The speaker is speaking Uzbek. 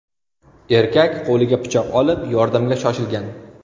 Erkak qo‘liga pichoq olib, yordamga shoshilgan.